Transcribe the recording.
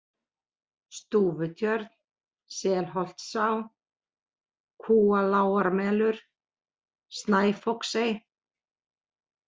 Stúfutjörn, Selholtstá, Kúalágarmelur, Snæfoksey